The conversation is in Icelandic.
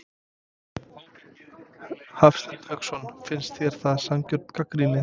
Hafsteinn Hauksson: Finnst þér það sanngjörn gagnrýni?